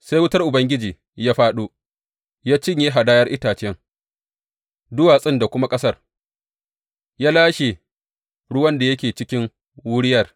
Sai wutar Ubangiji ya fāɗo, ya cinye hadayar, itacen, duwatsun da kuma ƙasar, ya lashe ruwan da yake cikin wuriyar.